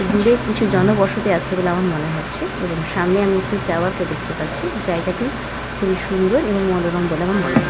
দূরে কিছু জনবসতি আছে বলে আমার মনে হচ্ছে এবং সামনে আমি একটি টাওয়ার - কে দেখতে পাচ্ছি জায়গাটি খুবই সুন্দর এবং মনোরম বলে আমার মনে হ --